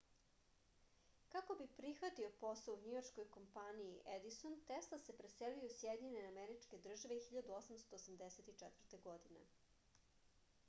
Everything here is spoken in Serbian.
kako bi prihvatio posao u njujorškoj kompaniji edison tesla se preselio u sjedinjene američke države 1884. godine